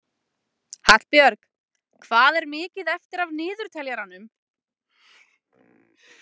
Hallbjörg, hvað er mikið eftir af niðurteljaranum?